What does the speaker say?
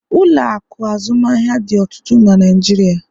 ụlọ akụ azụmaahịa dị ọtụtụ na Naijiria